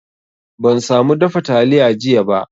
Ban samu dafa taliya jiya ba